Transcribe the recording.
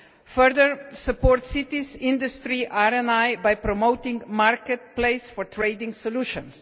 further support cities, industry and RI by promoting a marketplace for trading solutions